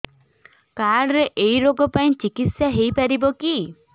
card ରେ ଏଇ ରୋଗ ପାଇଁ ଚିକିତ୍ସା ହେଇପାରିବ କି